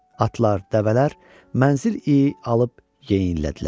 Atlar, dəvələr mənzil iyi alıb yeyinlədilər.